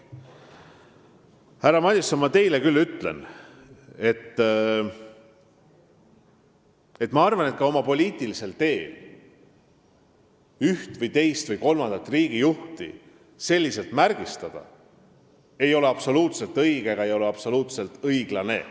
Härra Madison, ma teile küll ütlen, et minu arvates ei ole oma poliitilisel teel ühte või teist või kolmandat riigijuhti selliselt märgistada absoluutselt õige ega õiglane.